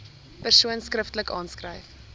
persoon skriftelik aanskryf